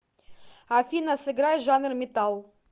афина сыграй жанр металл